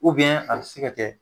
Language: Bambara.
a be se ka kɛ